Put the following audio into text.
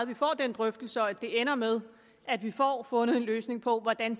vi får den drøftelse og at det ender med at vi får fundet en løsning på hvordan